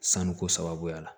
Sanuko sababuya la